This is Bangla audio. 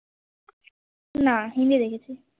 না হিন্দি দেখেছি